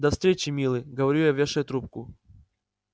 до встречи милый говорю я вешая трубку